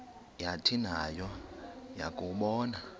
yathi nayo yakuwabona